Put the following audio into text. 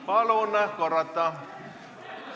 Palun korrata!